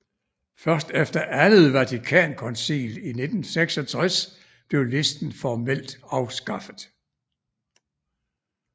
Først efter Andet Vatikankoncil i 1966 blev listen formelt afskaffet